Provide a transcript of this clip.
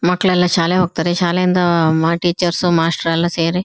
ಅದ್ರ ಮ್ಯಾಲ್ ಮಕ್ಳ್ ಕೂತ್ಕೊಂತವೆ ಫೋಟೋ ತಗಸ್ಕೊನ್ತವೆ ನೀರಲ್ ಆಟಾಡ್ತವೆ.